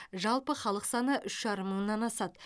жалпы халық саны үш жарым мыңнан асады